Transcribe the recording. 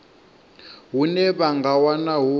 hune vha nga wana hu